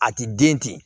A ti den ten